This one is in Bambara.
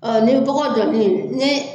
Ɔ ni dɔgɔ ni